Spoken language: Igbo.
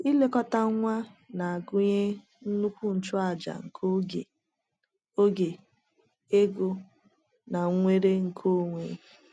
Ilekọta nwa na-agụnye nnukwu nchụaja nke oge, oge, ego, na nnwere nke onwe.